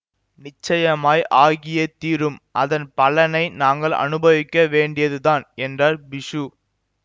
நிச்சயமாய் ஆகியே தீரும் அதன் பலனை நாங்கள் அனுபவிக்க வேண்டியதுதான் என்றார் பிஷு